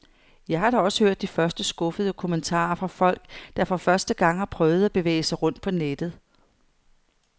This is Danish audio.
Jeg har da også hørt de første skuffede kommentarer fra folk, der for første gang har prøvet at bevæge sig rundt på nettet.